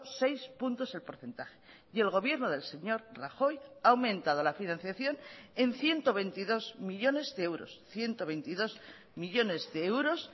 seis puntos el porcentaje y el gobierno del señor rajoy ha aumentado la financiación en ciento veintidós millónes de euros ciento veintidós millónes de euros